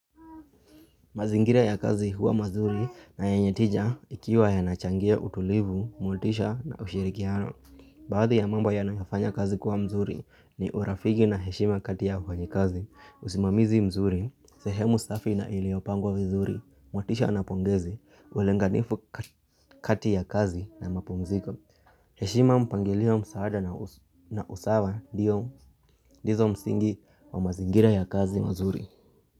Mazingira ya kazi huwa mazuri na yenye tija ikiwa yanachangia utulivu, motisha na ushirikiano. Baadhi ya mambo yanayofanya kazi kuwa mzuri ni urafiki na heshima kati ya wafanyikazi, usimamizi mzuri, sehemu safi na iliopangwa vizuri, motisha na pongezi, ulenganifu kati ya kazi na mapumziko. Heshima mpangilio msaada na usawa ndizo msingi wa mazingira ya kazi mazuri.